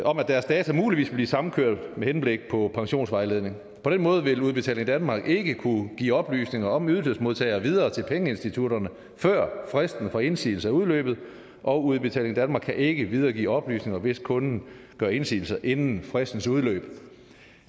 om at deres data muligvis vil blive samkørt med henblik på pensionsvejledning på den måde vil udbetaling danmark ikke kunne give oplysninger om ydelsesmodtagere videre til pengeinstitutterne før fristen for indsigelse er udløbet og udbetaling danmark kan ikke videregive oplysninger hvis kunden gør indsigelse inden fristens udløb